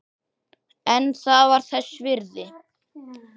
En það var þess virði.